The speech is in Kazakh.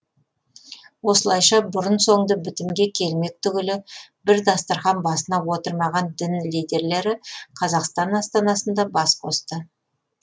осылайша бұрын соңды бітімге келмек түгілі бір дастархан басына отырмаған дін лидерлері қазақстан астанасында бас қосты